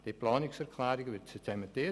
Die Planungserklärungen werden zementiert.